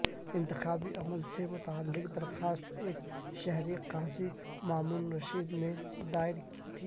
انتخابی عمل سے متعلق درخواست ایک شہری قاضی مامون الرشید نے دائر کی تھی